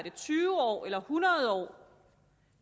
tyve år eller hundrede år